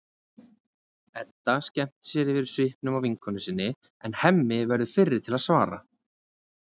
Edda skemmtir sér yfir svipnum á vinkonu sinni en Hemmi verður fyrri til að svara.